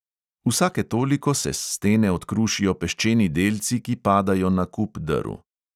Vsake toliko se s stene odkrušijo peščeni delci, ki padajo na kup drv.